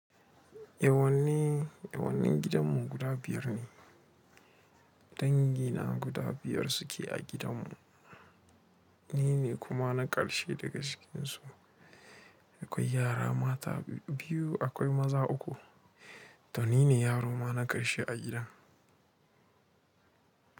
Yawanne yawancin gidanmu guda biyar ne. Dangi na guda biyar suke a gidanmu, ni ne kuma na ƙarshe daga cikin su. Akwai yara mata biyu, akwai maza uku da ni ne yaro ma na ƙarshe a gidan.